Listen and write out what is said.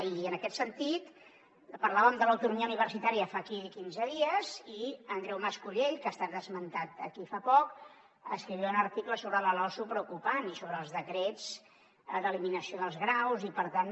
i en aquest sentit parlàvem de l’autonomia universitària fa quinze dies i andreu mas collell que ha estat esmentat aquí fa poc escrivia un article sobre la losu preocupant i sobre els decrets d’eliminació dels graus i per tant